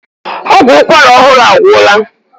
Ọgwụ ụkwara ọhụrụ agwụla.